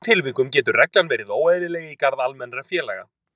Í slíkum tilvikum getur reglan verið óeðlileg í garð almennra félaga.